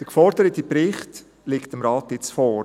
Der geforderte Bericht liegt dem Rat jetzt vor.